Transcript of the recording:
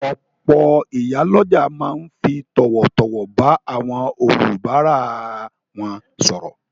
Òpò ìyálójà ma n fi tòwòtòwò ba áwon olùbárà won sòrò